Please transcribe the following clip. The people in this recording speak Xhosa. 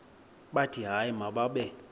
bathi hayi mababe